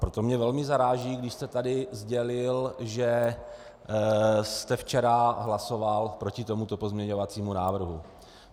Proto mě velmi zaráží, když jste tady sdělil, že jste včera hlasoval proti tomuto pozměňovacímu návrhu.